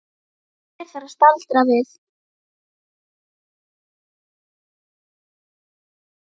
Hér þarf að staldra við.